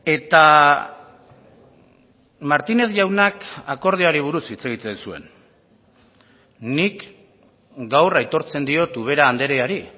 eta martinez jaunak akordioari buruz hitz egiten zuen nik gaur aitortzen diot ubera andreari